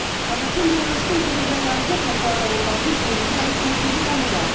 қазақ пен беларусьтің тығыз байланысы қай салада болмасын сенімді әрі серпінді дамуда